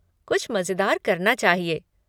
कुछ मज़ेदार करना चाहिए।